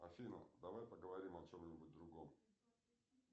афина давай поговорим о чем нибудь другом